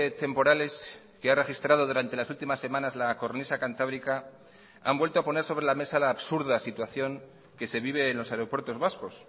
temporales que ha registrado durante las últimas semanas la cornisa cantábrica han vuelto a poner sobre la mesa la absurda situación que se vive en los aeropuertos vascos